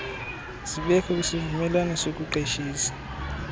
zibekho kwisivumelwano sokuqeshisa